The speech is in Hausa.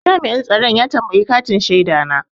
Jami'in tsaron ya tambayi katin shaida na.